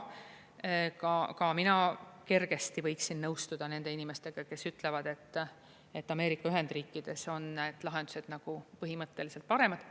Ka mina kergesti võiksin nõustuda nende inimestega, kes ütlevad, et Ameerika Ühendriikides on lahendused nagu põhimõtteliselt paremad.